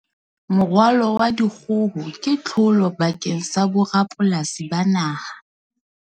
Moralo wa dikgoho ke tlholo bakeng sa borapolasi ba naha.